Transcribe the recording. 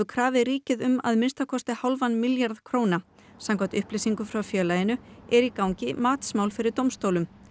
krafið ríkið um að minnsta kosti hálfan milljarð króna samkvæmt upplýsingum frá félaginu er í gangi fyrir dómstólum